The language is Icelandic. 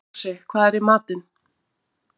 Rósi, hvað er í matinn?